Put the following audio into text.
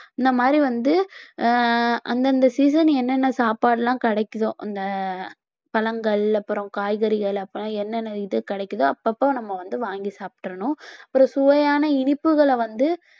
இந்த மாதிரி வந்து ஆஹ் அந்தந்த season என்னென்ன சாப்பாடு எல்லாம் கிடைக்குதோ அந்த பழங்கள் அப்புறம் காய்கறிகள் அப்புறம் என்னென்ன இது கிடைக்குதோ அப்பப்ப நம்ம வந்து வாங்கி சாப்பிட்டறணும் ஒரு சுவையான இனிப்புகளை வந்து